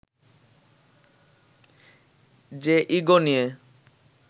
যে ইগো নিয়ে